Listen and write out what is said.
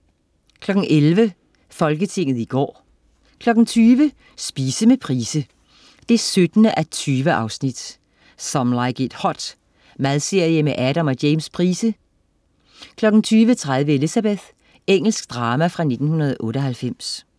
11.00 Folketinget i går 20.00 Spise med Price 17:20. "Some Like It Hot". Madserie med Adam og James Price 20.30 Elizabeth. Engelsk drama fra 1998